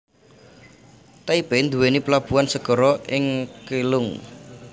Taipei nduwèni plabuhan segara ing Keelung